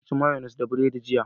Na ci mayonis da bread jiya